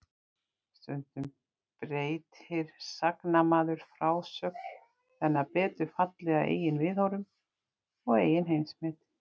Stundum breytir sagnamaður frásögn þannig að betur falli að eigin viðhorfum og eigin heimsmynd.